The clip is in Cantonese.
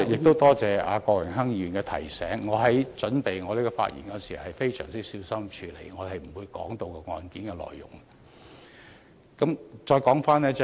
多謝郭榮鏗議員的提醒，我準備有關發言時，也非常小心處理，我不會提及案件內容。